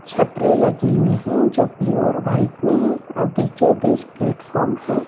छपरे लगे हुए हैं जो ब्लू और वाइट में है और बीचों-बीच प्लेटफॉर्म है।